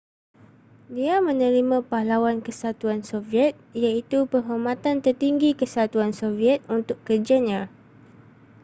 dia menerima pahlawan kesatuan soviet iaitu penghormatan tertinggi kesatuan soviet untuk kerjanya